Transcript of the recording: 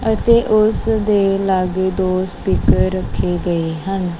ਅਤੇ ਉਸ ਦੇ ਲੱਗੇ ਦੋ ਸਪੀਕਰ ਰੱਖੇ ਗਏ ਹਨ।